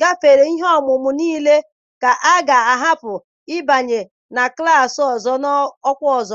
gafere ihe ọmụmụ niile ka a ga-ahapụ ịbanye na klassị ọzọ n'ọkwa ọzọ.